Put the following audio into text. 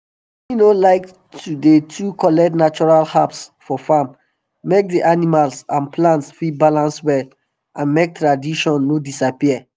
he no like to dey too collect natural herbs for farm make d animal and plants fit balance well and make tradition no disappear